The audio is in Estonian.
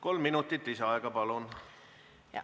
Kolm minutit lisaaega, palun!